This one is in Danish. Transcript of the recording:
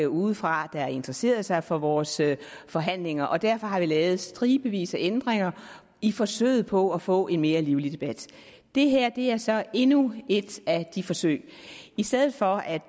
udefra der interesserede sig for vores forhandlinger og derfor har vi lavet stribevis af ændringer i forsøget på at få en mere livlig debat det her er så endnu et af de forsøg i stedet for at